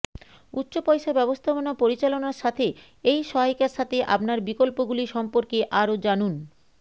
উচ্চ পয়সা ব্যবস্থাপনা পরিচালনার সাথে এই সহায়িকার সাথে আপনার বিকল্পগুলি সম্পর্কে আরও জানুন